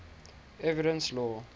evidence law